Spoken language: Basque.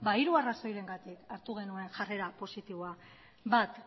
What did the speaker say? hiru arrazoirengatik hartu genuen jarrera positiboa bat